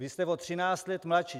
Vy jste o 13 let mladší.